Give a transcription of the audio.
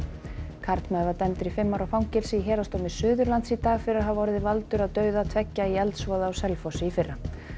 karlmaður var dæmdur í fimm ára fangelsi í Héraðsdómi Suðurlands í dag fyrir að hafa orðið valdur að dauða tveggja í eldsvoða á Selfossi í fyrra